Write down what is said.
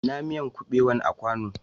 Ina miyan kubewan a kwanu?